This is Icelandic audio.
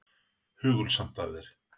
Hugulsamt af þér.